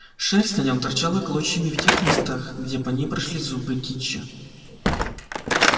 шерсть на нем торчала клочьями в тех местах где по ней прошлись зубы кичи